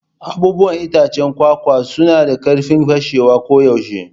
Abubuwan itacen kwakwa suna da karfin fashewa koyaushe.